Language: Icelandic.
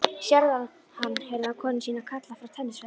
Sérðu hann? heyrði hann konu sína kalla frá tennisvellinum.